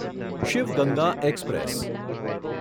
Shiv Ganga express